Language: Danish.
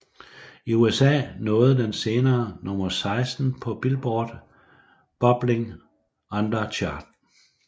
I USA nåede den senere nummer 16 på Billboard Bubbling Under Chart